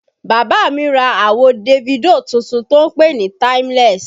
Bàbá mi ra àwo Davido tuntun tó pè NÍ Timeless